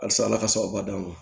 Halisa ala ka sababu d'an ma